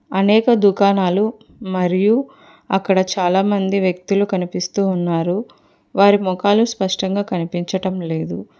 అనేక దుకాణాలు మరియు అక్కడ చాలా మంది వ్యక్తులు కనిపిస్తూ ఉన్నారు వారి మొఖాలు స్పష్టంగా కనిపించటం లేదు.